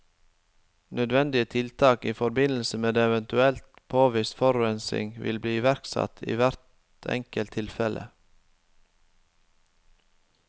Nødvendige tiltak i forbindelse med eventuell påvist forurensning vil bli iverksatt i hvert enkelt tilfelle.